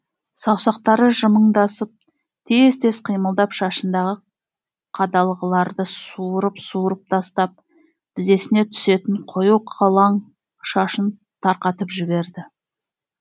саусақтары жымыңдасып тез тез қимылдап шашындағы қадалғыларды суырып суырып тастап тізесіне түсетін қою қолаң шашын тарқатып жіберді